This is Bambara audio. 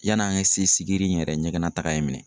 Yan'an ka se sigiri in yɛrɛ ɲɛgɛn nataaga ye in minɛ.